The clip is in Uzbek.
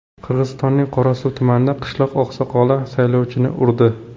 Qirg‘izistonning Qorasuv tumanida qishloq oqsoqoli saylovchini urdi .